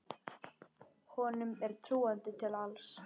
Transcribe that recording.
Honum er trúandi til alls.